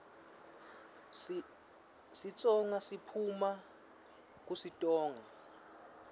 sitsonga siphuuma kusitonga